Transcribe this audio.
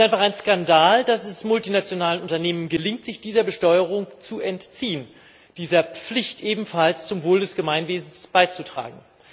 Es ist einfach ein Skandal, dass es multinationalen Unternehmen gelingt, sich dieser Besteuerung zu entziehen, dieser Pflicht, ebenfalls zum Wohl des Gemeinwesens beizutragen.